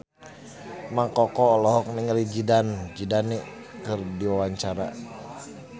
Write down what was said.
Mang Koko olohok ningali Zidane Zidane keur diwawancara